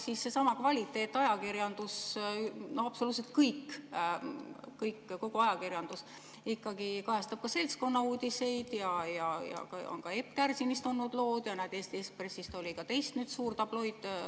Seesama kvaliteetajakirjandus, absoluutselt kogu ajakirjandus kajastab ka seltskonnauudiseid, on olnud Epp Kärsinist lood ja Eesti Ekspressis oli teistki suur tabloidlugu.